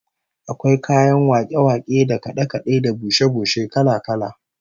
Akwai kayan wake-wake da kade-kade da bushe-bushe kala-kala